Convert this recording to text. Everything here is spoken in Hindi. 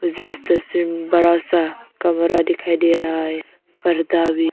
मुझे इस तस्वीर में बड़ा सा कमरा दिखाई दे रहा है पर्दा भी--